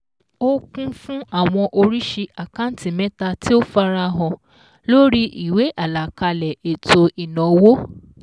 Ó kún fún awọn oríṣi àkántì mẹ́ta tí ó farahàn lórí ìwé àlàkalẹ̀ ètò ìnáwó